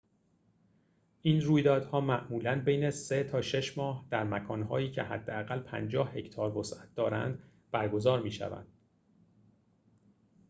این رویدادها معمولاً بین سه تا شش ماه در مکان‌هایی که حداقل ۵۰ هکتار وسعت دارند برگزار می‌شود